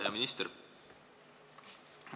Hea minister!